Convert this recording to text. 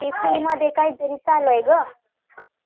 मध्ये काहीतरी चा लू आहे गं